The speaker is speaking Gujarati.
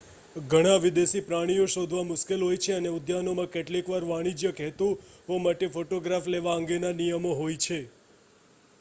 ઘણા વિદેશી પ્રાણીઓ શોધવા મુશ્કેલ હોય છે અને ઉદ્યાનોમાં કેટલીક વાર વાણિજ્યક હેતુઓ માટે ફોટોગ્રાફ લેવા અંગેના નિયમો હોય છે